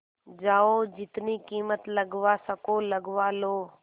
जाओ जितनी कीमत लगवा सको लगवा लो